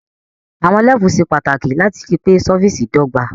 Àwon levels se pàtàkì láti ripé surface dọ́gba